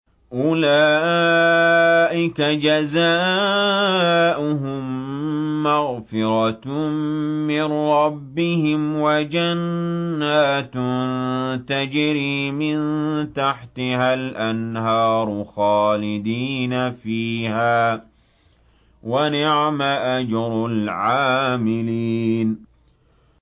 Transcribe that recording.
أُولَٰئِكَ جَزَاؤُهُم مَّغْفِرَةٌ مِّن رَّبِّهِمْ وَجَنَّاتٌ تَجْرِي مِن تَحْتِهَا الْأَنْهَارُ خَالِدِينَ فِيهَا ۚ وَنِعْمَ أَجْرُ الْعَامِلِينَ